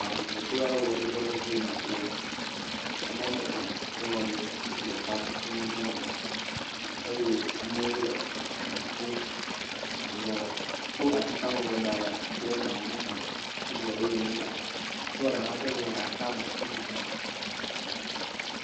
aʋuʋu kple ɣeɖuɖuaɖe dziyim afia amɔme tɔ̃ ŋutsu eve kple nyɔnu ɖeka eye amowo le eʋu ƒom eʋuɔ ɖe kó atitame ʋua daɖe ati ɖe tame he ƒoƒom eʋuɔ ɖewo la nyigbã ŋutsuɔ ɖe kɔ ʋuɔ de atame nɔ ƒoƒom